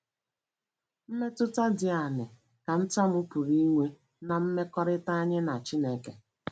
Mmetụta dị aṅaa ka ntamu pụrụ inwe ná mmekọrịta anyị na Chineke?